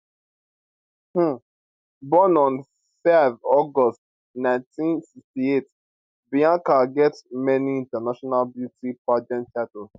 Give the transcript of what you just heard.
um born on 5 august 1968 bianca get many international beauty pageant titles